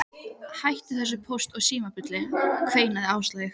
Hættu þessu Póst og Síma bulli kveinaði Áslaug.